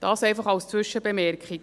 Dies einfach als Zwischenbemerkung.